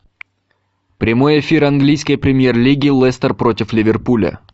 прямой эфир английской премьер лиги лестер против ливерпуля